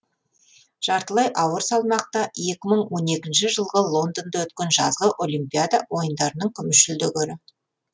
жартылай ауыр салмақта екі мың он екінші жылғы лондонда өткен жазғы олимпиада ойындарының күміс жүлдегері